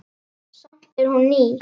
Samt er hún ný.